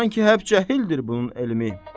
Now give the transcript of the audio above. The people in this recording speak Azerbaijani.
Sanki həp cahildir bunun elmi.